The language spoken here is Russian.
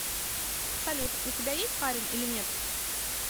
салют у тебя есть парень или нет